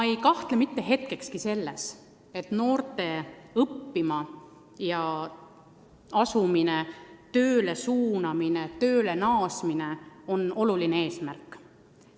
Ma ei kahtle mitte hetkekski, et noorte õppima asumine või tööle minek on oluline eesmärk.